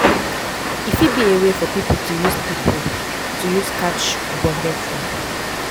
e fit be a way for pipo to use pipo to use catch ogbonge fun